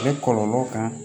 A bɛ kɔlɔlɔw kan